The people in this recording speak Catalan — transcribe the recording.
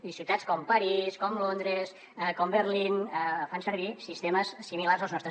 i ciutats com parís com londres com berlín fan servir sistemes similars als nostres